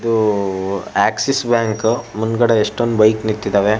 ಇದು Axis bank ಉ ಮುಂದ್ಗಡೆ ಯೆಸ್ಟ್ ಬೈಕ್ ನಿಂತಿದವೇ.